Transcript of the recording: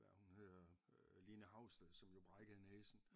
Hvad er det hun hedder øh Line Haugsted som jo brækkede næsen